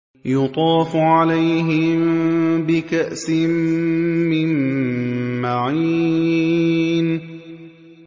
يُطَافُ عَلَيْهِم بِكَأْسٍ مِّن مَّعِينٍ